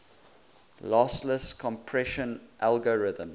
lossless compression algorithms